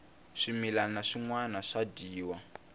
swimilana swinwana swa dyiwa